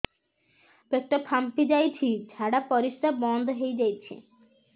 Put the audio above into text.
ପେଟ ଫାମ୍ପି ଯାଇଛି ଝାଡ଼ା ପରିସ୍ରା ବନ୍ଦ ହେଇଯାଇଛି